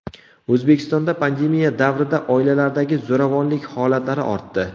O‘zbekistonda pandemiya davrida oilalardagi zo‘ravonlik holatlari ortdi.